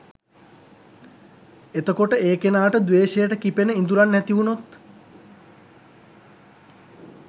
එතකොට ඒ කෙනාට ද්වේෂයට කිපෙන ඉඳුරන් ඇතිවුණොත්